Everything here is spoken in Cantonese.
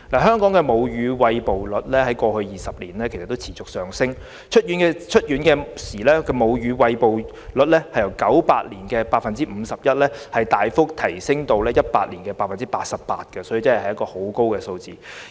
香港的母乳餵哺率在過去20年持續上升，出院時的母乳餵哺率由1998年的 51% 大幅提升至2018年的 88%， 這個比率確實很高。